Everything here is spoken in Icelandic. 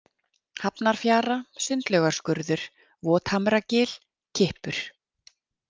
Hafnarfjara, Sundlaugarskurður, Vothamragil, Kippur